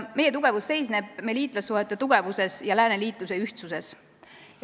Meie tugevus seisneb meie liitlassuhete tugevuses ja lääneliitluse ühtsuses.